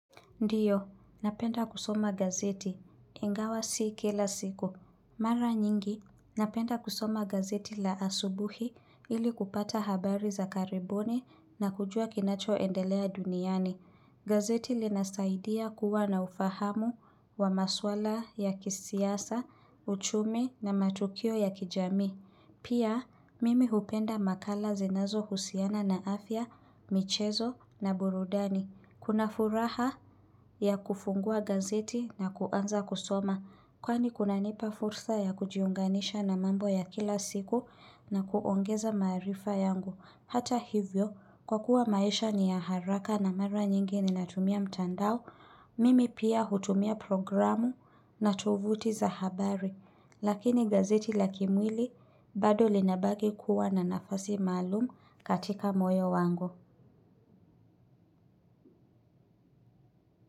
Ndiyo, napenda kusoma gazeti. Ingawa si kila siku. Mara nyingi, napenda kusoma gazeti la asubuhi ili kupata habari za karibuni na kujua kinacho endelea duniani. Gazeti linasaidia kuwa na ufahamu wa masuala ya kisiasa, uchumi na matukio ya kijamii. Pia, mimi hupenda makala zinazo husiana na afya, michezo na burudani. Kuna furaha ya kufungua gazeti na kuanza kusoma. Kwani kunanipa fursa ya kujiunganisha na mambo ya kila siku na kuongeza maarifa yangu. Hata hivyo, kwa kuwa maisha ni ya haraka na mara nyingi ninatumia mtandao. Mimi pia hutumia programu na tovuti za habari. Lakini gazeti la kimwili bado linabaki kuwa na nafasi malumu katika moyo wangu.